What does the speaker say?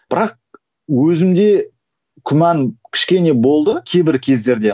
бірақ өзімде күмән кішкене болды кейбір кездерде